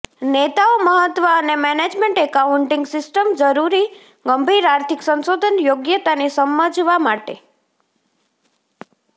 નેતાઓ મહત્વ અને મેનેજમેન્ટ એકાઉન્ટિંગ સિસ્ટમ જરૂરી ગંભીર આર્થિક સંશોધન યોગ્યતાની સમજવા માટે